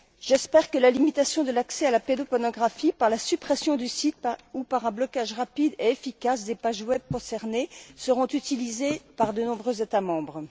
J'espère que la limitation de l'accès à la pédopornographie, par la suppression des sites ou par un blocage rapide et efficace des pages web concernées, sera utilisée par de nombreux États membres.